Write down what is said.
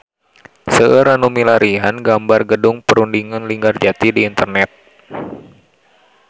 Seueur nu milarian gambar Gedung Perundingan Linggarjati di internet